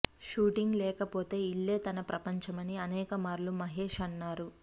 shooting లేకపోతే ఇల్లే తన ప్రపంచమని అనేక మార్లు మహేశ్ అన్నారు